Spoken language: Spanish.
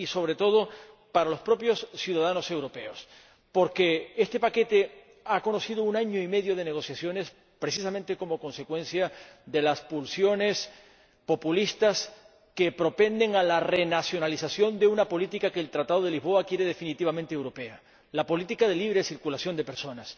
y, sobre todo, para los propios ciudadanos europeos, porque este paquete ha conocido un año y medio de negociaciones precisamente como consecuencia de las pulsiones populistas que propenden a la renacionalización de una política que el Tratado de Lisboa quiere definitivamente europea la política de libre circulación de personas.